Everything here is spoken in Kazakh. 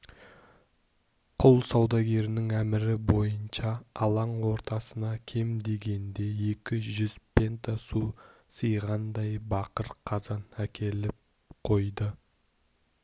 құл саудагерінің әмірі бойынша алаң ортасына кем дегенде екі жүз пента су сыйғандай бақыр қазан әкеліп қойды